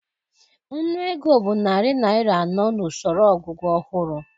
Nnụ ego bụ narị naịra anọ n'usoro ogugu ọhụrụ